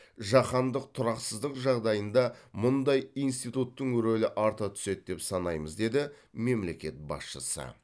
жаһандық тұрақсыздық жағдайында мұндай институттың рөлі арта түседі деп санаймыз деді мемлекет басшысы